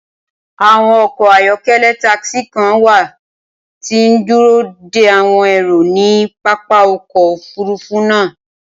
Awọn ọkọ ayọkẹlẹ takisi kan wa ti n duro de awọn ero ni papa ọkọ ofurufu naa.